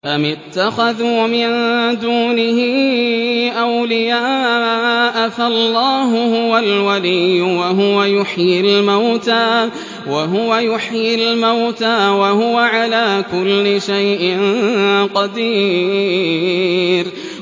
أَمِ اتَّخَذُوا مِن دُونِهِ أَوْلِيَاءَ ۖ فَاللَّهُ هُوَ الْوَلِيُّ وَهُوَ يُحْيِي الْمَوْتَىٰ وَهُوَ عَلَىٰ كُلِّ شَيْءٍ قَدِيرٌ